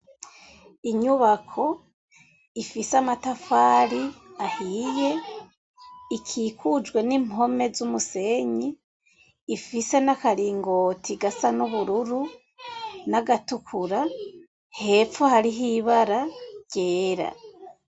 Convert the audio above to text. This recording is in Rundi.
Inyubako ifise amatafari ahiye, ikikujwe n'impome z'umusenyi, ifise n'akaringoti gasa n'ubururu, n'agatukura, hepfo hariho ibara ryera.